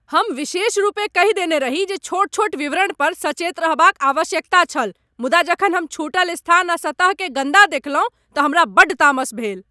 हम विशेषरूपेँ कहि देने रही जे छोट छोट विवरण पर सचेत रहबाक आवश्यकता छल मुदा जखन हम छूटल स्थान आ सतह केँ गन्दा देखलहुँ तँ हमरा बड्ड तामस भेल।